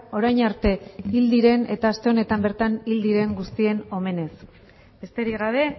orain arte hil diren eta aste honetan bertan hil diren guztien omenez besterik gabe